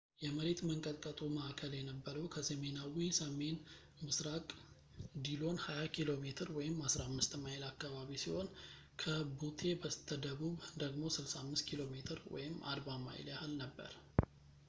የመሬት መንቀጥቀጡ ማእከል የነበረው፣ ከሰሜናዊ-ሰሜንምስራቅ ዲሎን 20 ኪ.ሜ 15 ማይል አካባቢ ሲሆን ከቡቴ በስተደቡብ ደግሞ 65 ኪ.ሜ 40 ማይል ያህል ነበር